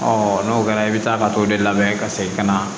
n'o kɛra i bɛ taa ka t'o de labɛn ka segin ka na